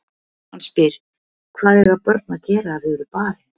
Hann spyr: Hvað eiga börn að gera ef þau eru barin?